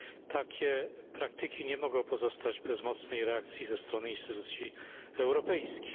Takie praktyki nie mogą pozostać bez mocnej reakcji ze strony instytucji europejskich.